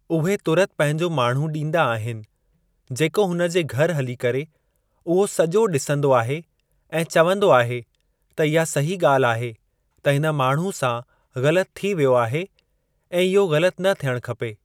उहे तुरत पंहिंजो माण्हू ॾींदा आहिनि जेको हुन जे घर हली करे उहो सॼो डि॒संदो आहे ऐ चवंदो आहे त इहा सही ॻाल्हि आहे त हिन माण्हू सा ग़लति थी वियो आहे ऐं इहो ग़लति न थियणु खपे।